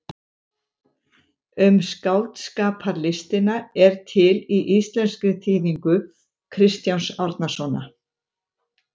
Um skáldskaparlistina er til í íslenskri þýðingu Kristjáns Árnasonar.